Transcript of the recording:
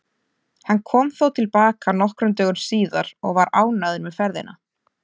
Hann kom þó til baka nokkrum dögum síðar og var ánægður með ferðina.